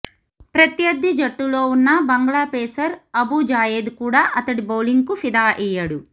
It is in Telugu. ప్రత్యర్థి జట్టులో ఉన్న బంగ్లా పేసర్ అబు జాయేద్ కూడా అతడి బౌలింగ్కు ఫిదా అయ్యాడు